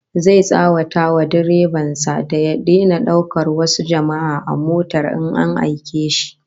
Zai tsawata wa direban sa da ya daina daukar wasu jama'a a motar in an aike shi